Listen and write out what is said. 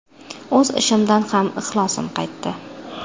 O‘z ishimdan ham ixlosim qaytdi.